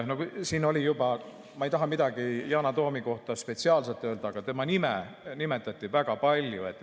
Ma ei taha midagi Yana Toomi kohta spetsiaalselt öelda, aga tema nime nimetati väga palju.